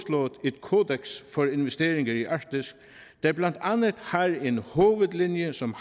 kodeks for investeringer i arktis der blandt andet har en hovedlinje som